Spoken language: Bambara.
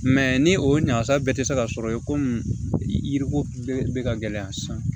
ni o ɲagasa bɛɛ tɛ se ka sɔrɔ ye komi yiriko bɛɛ bɛ ka gɛlɛya san